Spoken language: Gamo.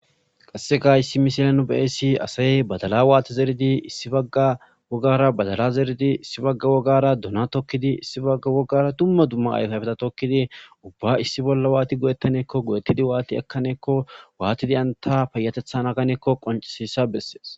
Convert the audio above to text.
Qaseka haysa misilen ta bea'she dizaysi badala wati zeridi issi baga wogara badala issibagara dona tokidi issi bagara duma duma ayfa ayfeta tokidi ubba issi boll wati goe'tanakko watidi ekanakko watidi enta payateta naganakko